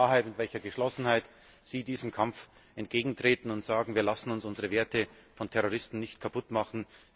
mit welcher Klarheit und welcher Geschlossenheit sie diesem Kampf entgegentreten und sagen Wir lassen uns unsere Werte von Terroristen nicht kaputt machen!,